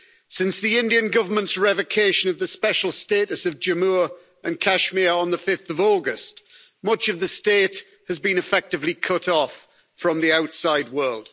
Since the Indian Government's revocation of the special status of Jammu and Kashmir on 5 August, much of the state has been effectively cut off from the outside world.